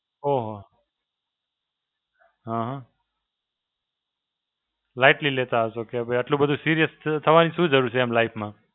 ઓહો. હાં હાં. Lightly લેતા હશો કે ભઈ આટલું બધું serious થવાની શું જરૂર છે એમ life માં.